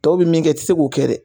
Tɔw bɛ min kɛ i tɛ se k'o kɛ dɛ.